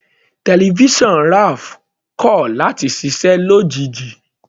Tẹlifísàn Raph kọ̀ láti ṣiṣẹ́ lójijì.